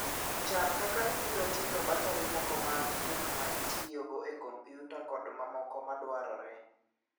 Chan kaka ibiro ting'o bateri moko mag gik ma itiyogo e kompyuta kod mamoko madwarore.